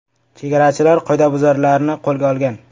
Chegarachilar qoidabuzarlarni qo‘lga olgan.